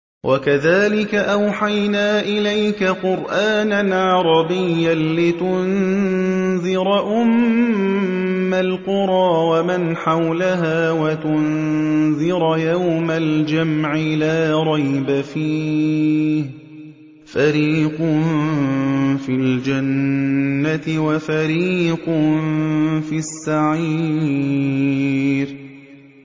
وَكَذَٰلِكَ أَوْحَيْنَا إِلَيْكَ قُرْآنًا عَرَبِيًّا لِّتُنذِرَ أُمَّ الْقُرَىٰ وَمَنْ حَوْلَهَا وَتُنذِرَ يَوْمَ الْجَمْعِ لَا رَيْبَ فِيهِ ۚ فَرِيقٌ فِي الْجَنَّةِ وَفَرِيقٌ فِي السَّعِيرِ